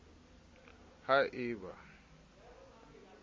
ha e ba ha o